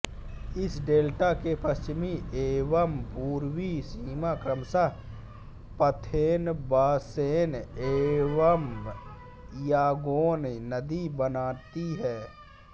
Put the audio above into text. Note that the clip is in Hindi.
इस डेल्टा के पश्चिमी एवम पूर्वी सीमा क्रमशः पाथेनबासेन एवम यांगोन नदी बनाती है